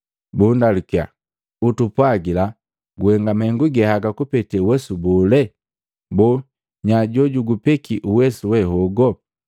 bundalukiya, “Utupwagila guhenga mahengu ge haga kupete uwesu bole? Boo nya jojugu peki uwesu we hogo?”